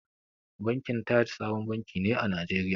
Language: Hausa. Bankin Taj sabon banki ne a Najeriya.